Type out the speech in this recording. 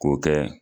K'o kɛ